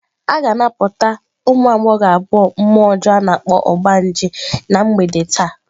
A ga-anapụta ụmụ agbọghọ abụọ mmụọ ọjọọ a na-akpọ "ogbanje" na mgbede taa.